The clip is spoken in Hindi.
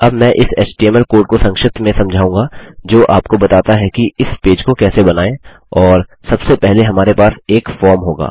अब मैं इस एचटीएमएल कोड को संक्षिप्त में समझाऊँगा जो आपको बताता है कि इस पेज को कैसे बनाएँ और सबसे पहले हमारे पास एक फॉर्म होगा